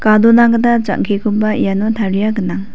gadona gita jang·kekoba iano taria gnang.